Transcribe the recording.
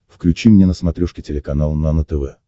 включи мне на смотрешке телеканал нано тв